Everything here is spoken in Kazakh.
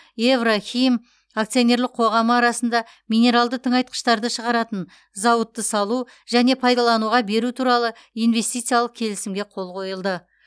еврохим акционерлік қоғамы арасында минералды тыңайтқыштарды шығаратын зауытты салу және пайдалануға беру туралы инвестициялық келісімге қол қойылды